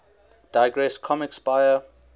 digress comics buyer